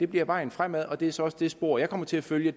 bliver vejen fremad og det er så også det spor jeg kommer til at følge